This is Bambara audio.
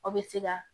Aw bɛ se ka